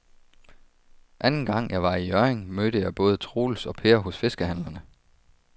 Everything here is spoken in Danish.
Anden gang jeg var i Hjørring, mødte jeg både Troels og Per hos fiskehandlerne.